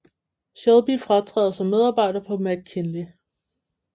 Shelby fratræder som medarbejder på McKinley